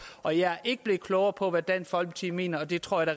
og jeg er ikke blevet klogere på hvad dansk folkeparti mener og det tror jeg